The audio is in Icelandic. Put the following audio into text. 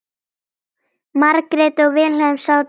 Margrét og Vilhelm sátu kyrr.